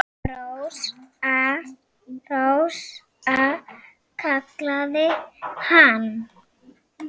Rósa, Rósa, kallaði hann.